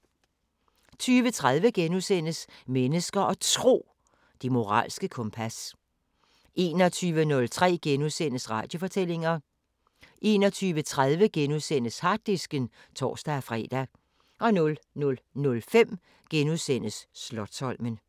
20:30: Mennesker og Tro: Det moralske kompas * 21:03: Radiofortællinger * 21:30: Harddisken *(tor-fre) 00:05: Slotsholmen *